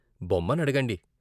బొమ్మ నడగండి.